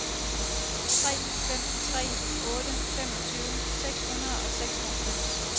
tre fem tre otte femogtyve seks hundrede og seksoghalvfems